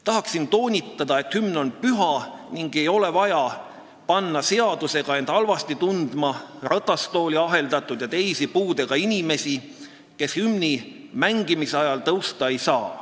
Tahaksin toonitada, et hümn on püha ning ei ole vaja seadusega panna ennast halvasti tundma ratastooli aheldatud ja teisi puudega inimesi, kes hümni mängimise ajal tõusta ei saa.